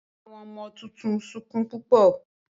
Àwọn ọmọ títún sọkún púpọ.